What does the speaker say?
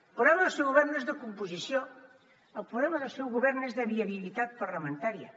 el problema del seu govern no és de composició el problema del seu govern és de viabilitat parlamentària